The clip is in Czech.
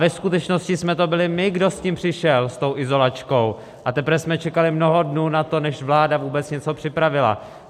Ve skutečnosti jsme to byli my, kdo s tím přišel, s tou izolačkou, a teprve jsme čekali mnoho dnů na to, než vláda vůbec něco připravila.